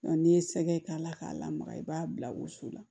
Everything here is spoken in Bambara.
n'i ye sɛgɛ k'a la k'a lamaga i b'a bila woso la